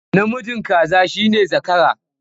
Namijin kaza shi ne zakara.